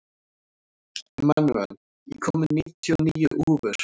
Emanúel, ég kom með níutíu og níu húfur!